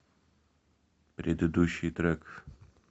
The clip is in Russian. предыдущий трек